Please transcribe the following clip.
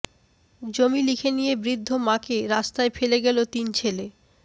জমি লিখে নিয়ে বৃদ্ধ মাকে রাস্তায় ফেলে গেলো তিন ছেলে